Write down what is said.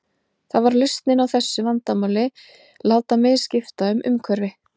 Það var lausnin á þessu vandamáli, láta mig skipta um umhverfi.